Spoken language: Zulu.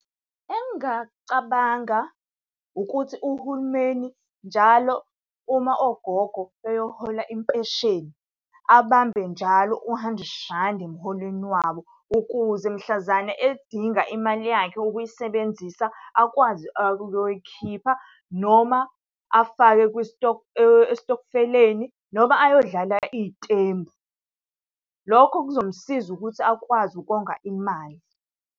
Engingakucabanga ukuthi uhulumeni njalo uma ogogo beyohola impesheni, abambe njalo u-hundred randi emholweni wabo. Ukuze mhlazane ey'dinga imali yakhe ukuyisebenzisa, akwazi ukuyoyikhipha noma afake esitokfeleni noma ayodlala iy'tembu. Lokho kuzomsiza ukuthi akwazi ukonga imali.